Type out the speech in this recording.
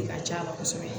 De ka c'a la kosɛbɛ